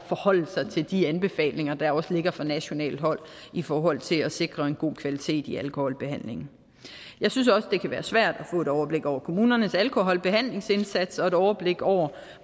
forholde sig til de anbefalinger der også ligger fra nationalt hold i forhold til at sikre en god kvalitet i alkoholbehandlingen jeg synes også det kan være svært at få et overblik over kommunernes alkoholbehandlingsindsats og et overblik over